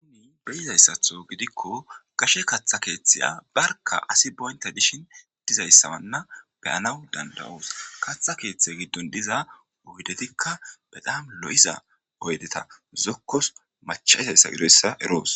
Uuni beyizayssatho gidikko gashe katha keeththeya barka asi boynta dishin dizayssamanna beyanaw dandawoos katha keeththe giddon diza oydetikka be daam lo'iza oydeta zokkos machaizayssa gidoyssa eroos.